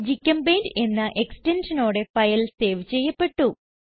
gchempaint എന്ന എക്സ്റ്റൻഷനോടെ file save ചെയ്യപ്പെട്ടു